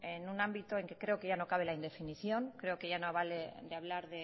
en un ámbito en que creo que ya no cabe la indefinición creo que ya no vale de hablar